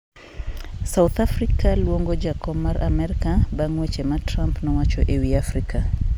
South Africa luongo jakom mar Amerka bang' weche ma Trump nowacho e wi Afrika